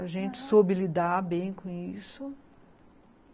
Aham, a gente soube lidar bem com isso.